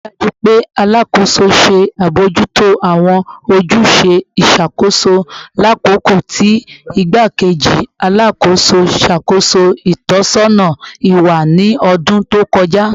Rii daju pe Alakoso ṣe abojuto awọn ojuse iṣakoso lakoko ti Igbakeji Alakoso ṣakoso itọsọna iwa ni ọdun to kọja